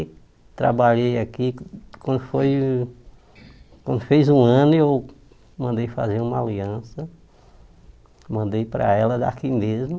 Trabalhei aqui, quando foi quando fez um ano eu mandei fazer uma aliança, mandei para ela daqui mesmo.